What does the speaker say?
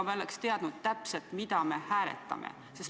Me oleks täpselt teadnud, mida me hääletame.